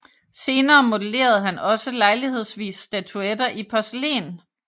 Senere modellerede han også lejlighedsvis statuetter i porcelæn